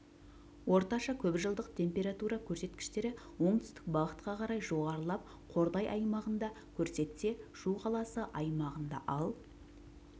орташа көпжылдық температура көрсеткіштері оңтүстік бағытқа қарай жоғарылап қордай аймағында көрсетсе шу қаласы аймағында ал